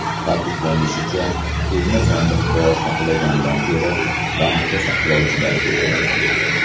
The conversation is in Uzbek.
Ta’kidlanishicha, pulni sandiqda saqlagandan ko‘ra, bankda saqlovchilar ko‘paydi.